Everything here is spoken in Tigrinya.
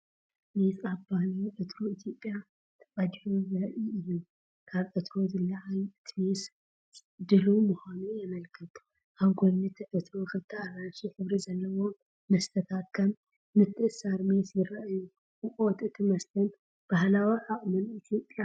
ሜስ ኣብ ባህላዊ ዕትሮ ኢትዮጵያ ተቀዲሑ ዘርኢ እዩ። ካብቲ ዕትሮ ዝለዓል እቲ ሜስ ድሉው ምዃኑ የመልክት። ኣብ ጎኒ እቲ ዕትሮ ክልተ ኣራንሺ ሕብሪ ዘለዎም መስተታት ከም ምትእስሳር ሜስ ይረኣዩ። ሙቐት እቲ መስተን ባህላዊ ዓቕምን ኢትዮጵያ።